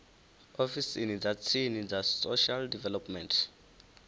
ofisini dza tsini dza social development